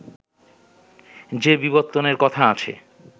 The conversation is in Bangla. যে বিবর্তনের কথা আছে